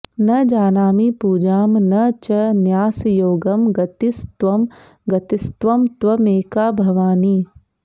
न जानामि पूजां न च न्यासयोगं गतिस्त्वं गतिस्त्वं त्वमेका भवानि